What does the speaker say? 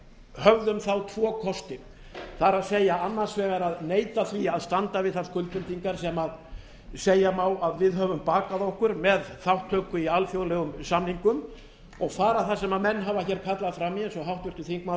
höfðum þá tvo kosti það er annars vegar að neita því að standa við þær skuldbindingar sem segja má að við höfum bakað okkur með þátttöku í alþjóðlegum samningum og fara það sem menn hafa hér kallað fram í eins og háttvirtur þingmaður